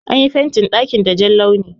An yi fentin daƙin da Jan launi.